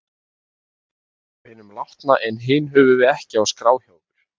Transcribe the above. Önnur eru af hinum látna en hin höfum við ekki á skrá hjá okkur.